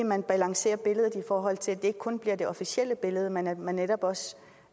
man balancerer billedet i forhold til at det ikke kun bliver det officielle billede men at man netop også